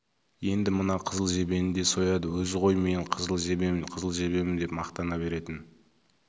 енді мына қызыл жебені де сояды өзі ғой мен қызыл жебемін қызыл жебемін деп мақтана беретін